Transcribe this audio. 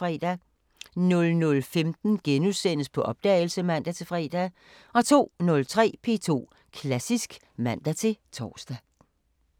00:15: På opdagelse *(man-fre) 02:03: P2 Klassisk (man-tor)